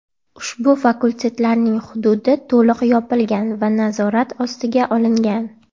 Ushbu fakultetlarning hududi to‘liq yopilgan va nazorat ostiga olingan.